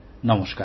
নমস্কার